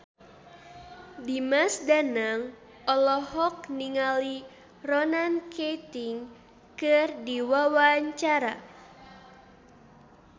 Dimas Danang olohok ningali Ronan Keating keur diwawancara